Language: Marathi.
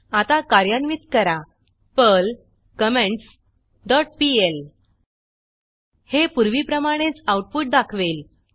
आता कार्यान्वित करा पर्ल कमेंट्स डॉट पीएल हे पूर्वीप्रमाणेच आऊटपुट दाखवेल